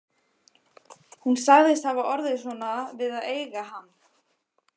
Hún sagðist hafa orðið svona við að eiga hann